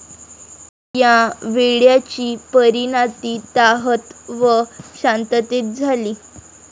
या वेड्याची परीनाती तहात व शांततेत झाली.